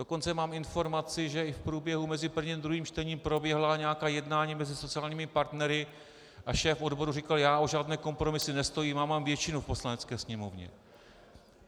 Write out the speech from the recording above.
Dokonce mám informaci, že i v průběhu mezi prvním a druhým čtením proběhla nějaká jednání mezi sociálními partnery a šéf odborů říkal: Já o žádné kompromisy nestojím, já mám většinu v Poslanecké sněmovně.